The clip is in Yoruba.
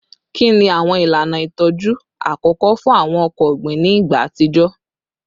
Kini awọn ilana itọju akọkọ fun awọn ọkọ ogbin ni igba atijọ?